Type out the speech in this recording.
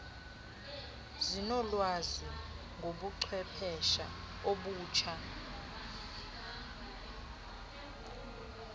zinolwazi ngobuchwephesha obutsha